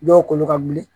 Dɔw kolo ka wuli